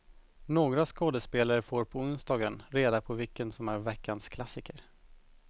Några skådespelare får på onsdagen reda på vilken som är veckans klassiker.